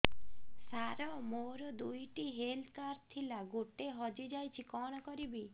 ସାର ମୋର ଦୁଇ ଟି ହେଲ୍ଥ କାର୍ଡ ଥିଲା ଗୋଟେ ହଜିଯାଇଛି କଣ କରିବି